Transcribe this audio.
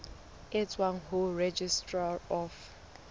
e tswang ho registrar of